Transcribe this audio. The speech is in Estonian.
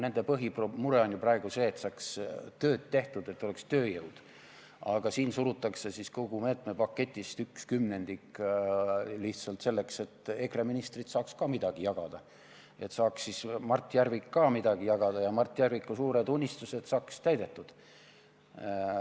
Nende põhimure on praegu see, et saaks tööd tehtud, et oleks tööjõudu, aga siin surutakse kogu meetme paketist üks kümnendik läbi lihtsalt selleks, et EKRE ministrid saaks ka midagi jagada, et saaks Mart Järvik ka midagi jagada ja Mart Järviku suured unistused saaksid täidetud.